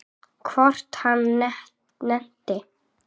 Hvort hann nennti.